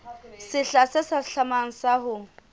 sehla se hlahlamang sa ho